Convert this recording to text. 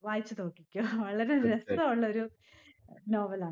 വായിച്ചുനോക്കിക്കോ. വളരെ രസവുള്ളൊരു novel ആണ്.